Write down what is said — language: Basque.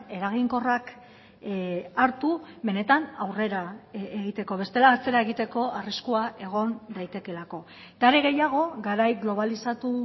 eraginkorrak hartu benetan aurrera egiteko bestela atzera egiteko arriskua egon daitekeelako eta are gehiago garai globalizatu